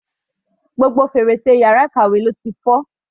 Gbogbo fèrèsé yàrá ìkàwé ló ti fọ́.